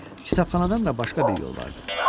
Kitabxanadan da başqa bir yol vardı.